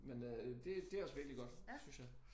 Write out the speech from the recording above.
Men øh det det også virkelig godt synes jeg